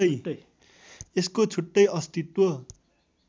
यसको छुट्टै अस्तित्व